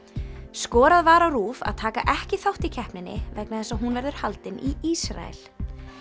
skorað var á RÚV að taka ekki þátt í keppninni vegna þess að hún verður haldin í Ísrael